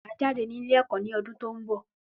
Máà jáde ní ilé ẹ̀kọ́ ní ọdún tí òún bọ̀